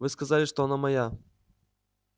вы сказали что она моя